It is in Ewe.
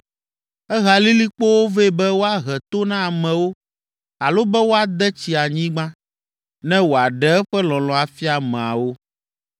Ehea lilikpowo vɛ be woahe to na amewo alo be woade tsi anyigba, ne wòaɖe eƒe lɔlɔ̃ afia ameawo.